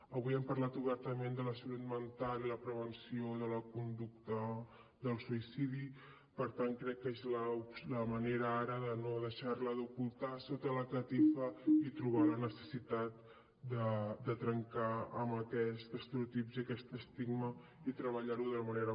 avui hem parlat obertament de la salut mental i la prevenció de la conducta del suïcidi per tant crec que és la manera ara de deixar la d’ocultar sota la catifa i trobar la necessitat de trencar amb aquest estereotip i aquest estigma i treballar ho de manera